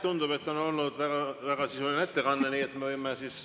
Tundub, et on olnud väga sisuline ettekanne, nii et me võime ...